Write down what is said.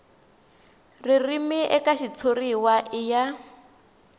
ririmi eka xitshuriwa i ya